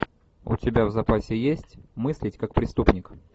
у тебя в запасе есть мыслить как преступник